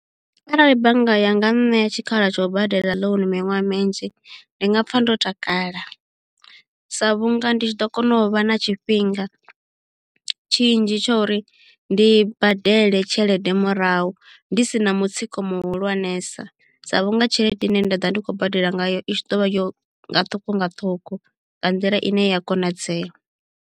Arali bannga yanga nṋea tshikhala tsha u badela loan miṅwaha minzhi ndi nga pfa ndo takala sa vhunga ndi tshi ḓo kona u vha na tshifhinga tshinzhi tsha uri ndi badele tshelede murahu ndi sina mutsiko muhulwanesa sa vhunga tshelede ine nda ḓovha ndi khou badela ngayo i tshi ḓo vha yo nga ṱhukhu nga ṱhukhu nga nḓila ine ya konadzeya.